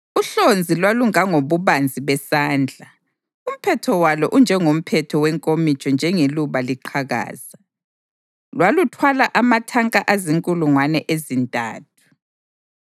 Uhlonzi lwalungangobubanzi besandla, umphetho walo unjengomphetho wenkomitsho njengeluba liqhakaza. Lwaluthwala amatanka azinkulungwane ezintathu.